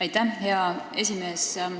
Aitäh, hea esimees!